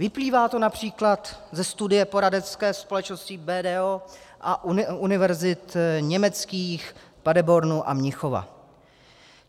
Vyplývá to například ze studie poradenské společnosti BDO a univerzit německých Paderbornu a Mnichova.